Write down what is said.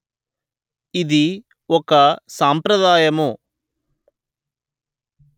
ఇది ఒక సాంప్రదాయము